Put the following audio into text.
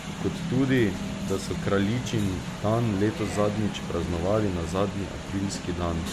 Kot tudi, da so kraljičin dan letos zadnjič praznovali na zadnji aprilski dan.